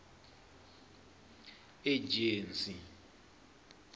ejensi